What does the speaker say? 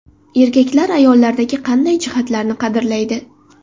Erkaklar ayollardagi qanday jihatlarni qadrlaydi?.